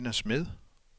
Nina Smed